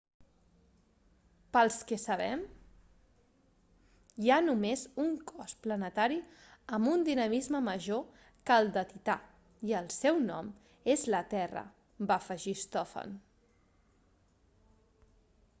pel que sabem hi ha només un cos planetari amb un dinamisme major que el de tità i el seu nom és la terra va afegir stofan